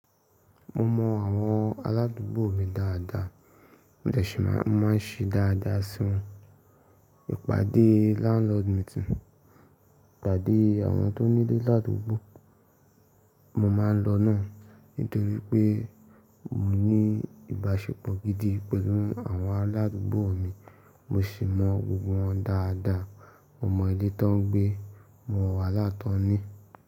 Mo mọ àwọn aládùúgbò mi dáadáa, mo dẹsi máa ń ṣe dáadáa sí wọn. Ípàdé landlord meeting, ìpàdé àwọn tó nílé ládùúgbò, mo máa ń lọ náà nítorí pé mo ní ìbáṣepọ̀ gidi pẹ̀lú àwọn aládùúgbò mi. Mo sì mọ gbogbo wọn dáadáa, mo mọ ilé tán gbé, mo mọ wàhálà tàn ni.